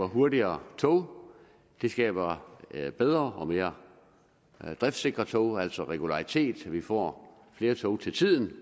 hurtigere tog det skaber bedre og mere driftsikre tog altså regularitet så vi får flere tog til tiden